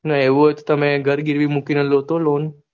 ના એવું હોઇ તો તમે ઘર ગીરવી મુકીને લ્યો તો loan